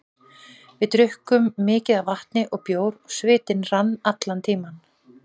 Við drukkum mikið af vatni og bjór og svitinn rann allan tímann.